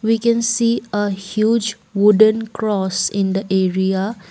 We can see a huge wooden cross in the area.